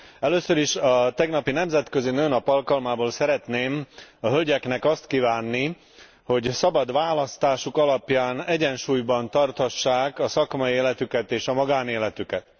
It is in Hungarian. Először is, a tegnapi Nemzetközi Nőnap alkalmából szeretném a hölgyeknek azt kívánni, hogy szabad választásuk alapján egyensúlyban tarthassák a szakmai életüket és a magánéletüket.